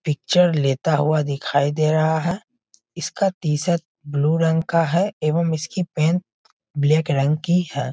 Picture लेता हुआ दिखाई दे रहा हैं इसका टी-शर्ट ब्लू रंग का हैं एवं इसकी पेंट ब्लैक रंग की हैं।